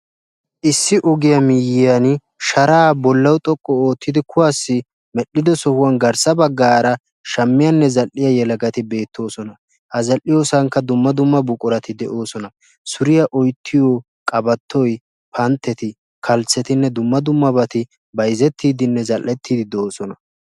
Issi ogiya miyyiyaani sharaa bollawu xoqqu oottidi kuwaassi medhdhido sohuwan garssa baggaara shammiyaanne zal'iya yelagati beettoosona. Ha zal'iyoosankka dumma dumma buqurati de'oosona. suriya oyittiyo qabattoy pantteti kalssettinne dumma dumma bati bayizettiiddinne zal'ettiiddi de'oosona.